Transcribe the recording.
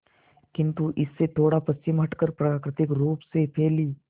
किंतु इससे थोड़ा पश्चिम हटकर प्राकृतिक रूप से फैली